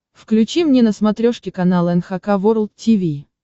включи мне на смотрешке канал эн эйч кей волд ти ви